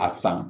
A san